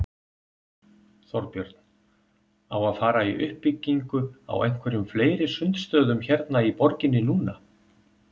Þorbjörn: Á að fara í uppbyggingu á einhverjum fleiri sundstöðum hérna í borginni núna?